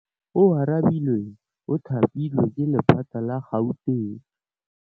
Oarabile o thapilwe ke lephata la Gauteng.